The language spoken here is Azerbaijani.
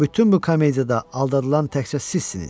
Və bütün bu komediyada aldadılan təkcə sizsiniz.